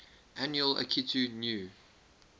annual akitu new